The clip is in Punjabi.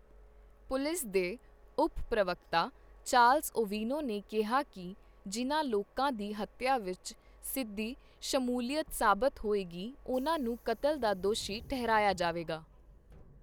ਪੁਲਿਸ ਦੇ ਉਪ ਪ੍ਰਵਕਤਾ ਚਾਰਲਸ ਓਵੀਨੋ ਨੇ ਕਿਹਾ ਕਿ ਜਿਨ੍ਹਾਂ ਲੋਕਾਂ ਦੀ ਹੱਤਿਆ ਵਿੱਚ ਸਿੱਧੀ ਸ਼ਮੂਲੀਅਤ ਸਾਬਤ ਹੋਏਗੀ, ਉਨ੍ਹਾਂ ਨੂੰ ਕਤਲ ਦਾ ਦੋਸ਼ੀ ਠਹਿਰਾਇਆ ਜਾਵੇਗਾ।